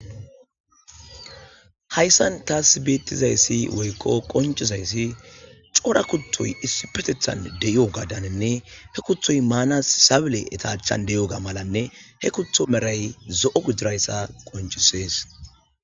Hayssan taas beettizayssi woykko qoncizayssi cora kutoy issu petethan de7i7o gadaninne he kuthoy maanas sabile etachan de7i7o ga malanne he kutho meray zo7o gujirayssa qoncisees.